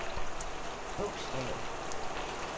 bogstav